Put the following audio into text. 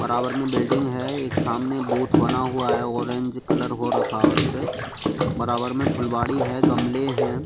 बराबर में बिल्डिंग है एक सामने बूथ बना हुआ है ऑरेंज कलर हो रखा है उसपे बराबर में फुलबाड़ी है गमले हैं।